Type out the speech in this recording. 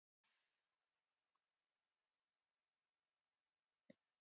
Ég kjafta ekki, segi ég lágt með þungri áherslu og loka augunum.